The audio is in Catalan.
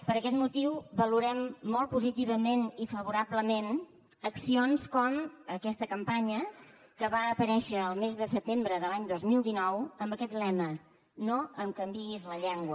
per aquest motiu valorem molt positivament i favorablement accions com aquesta campanya que va aparèixer el mes de setembre de l’any dos mil dinou amb aquest lema no em canviïs la llengua